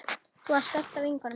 Þú varst besta vinkona mín.